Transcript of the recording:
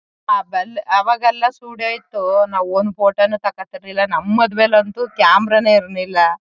ಆ ಬೆಲ್. ಆವಾಗೆಲ್ಲ ಸ್ಟುಡಿಯೋ ಇತ್ತು ನಾವ್ ಒಂದು ಫೋಟೋ ನು ತಕಾತಾ ಇರ್ಲಿಲ್ಲ. ನಮ್ ಮದ್ವೆಲ್ ಅಂತೂ ಕ್ಯಾಮೆರಾ ನೇ ಇರ್ಲಿಲ್ಲ.